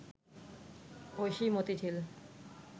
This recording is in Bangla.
ঐশী মতিঝিল